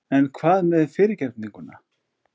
En hvað með fyrirgefninguna?